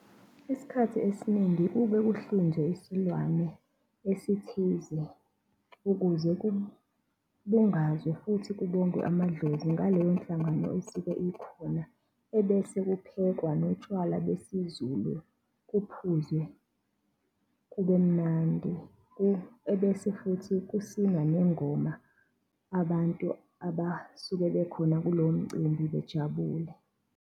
Isikhathi esiningi kuke kuhlinzwe isilwane esithize ukuze kubungazwe futhi kubongwe amadlozi ngaleyo nhlangano esike ikhona, ebese kuphekwa notshwala besiZulu, kuphuzwe kubemnandi. Ebese futhi kusinwa nengoma abantu abasuke bekhona kulomcimbi bejabule.